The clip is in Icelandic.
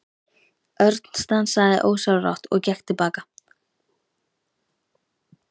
Örn stansaði ósjálfrátt og gekk til baka.